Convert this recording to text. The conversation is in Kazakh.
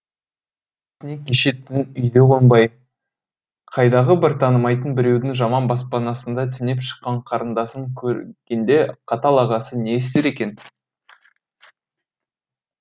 кеше түн үйде қонбай қайдағы бір танымайтын біреудің жаман баспанасында түнеп шыққан қарындасын көргенде қатал ағасы не істер екен